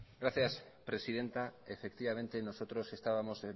gracias presidenta efectivamente nosotros estábamos